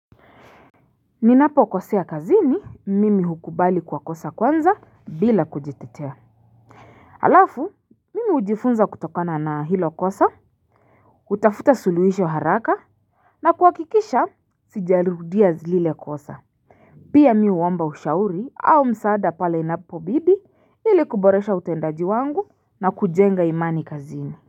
Ninapokosea kazini, mimi hukubali kwa kosa kwanza bila kujitetea. Alafu mimi hujifunza kutokana na hilo kosa. Kutafuta suluhisho haraka, na kuhakikisha sijarudia zile kosa. Pia mi huomba ushauri au msaada pale inapobidi ili kuboresha utendaji wangu na kujenga imani kazini.